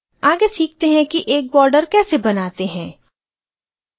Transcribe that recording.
आगे सीखते हैं कि एक border कैसे बनाते हैं